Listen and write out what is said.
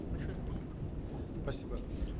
большое спасибо спасибо